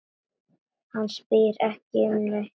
Hann spyr ekki um neitt.